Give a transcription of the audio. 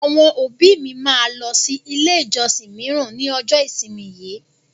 Àwọn òbí mi máa lọ sí ilé ìjọsìn míràn ní ọjọ́ ìsinmi yìí.